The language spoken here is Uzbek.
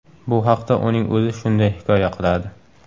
Bu haqda uning o‘zi shunday hikoya qiladi.